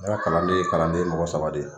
N ka kalanden ye kalanden mɔgɔ saba de ye.